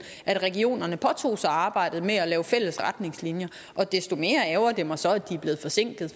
at regionerne påtog sig arbejdet med at lave fælles retningslinjer og desto mere ærgrer det mig så at de er blevet forsinket